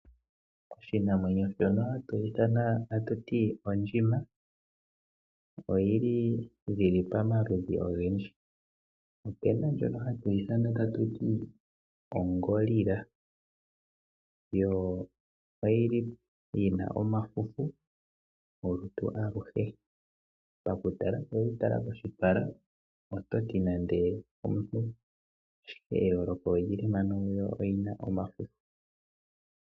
Oshinamwenyo shono hatu ithana tatu ti ondjima, oyi li dhili pamaludhi ogendji. Opu na ondjono hatu ithana tatu ti o gorilla, yo oyi li yi na omafufu olutu aluhe. Pakutala ngele owe yi tala koshipala ototi nande omuntu, ashike eyooloko oli li mpano yo oyi na omafufu.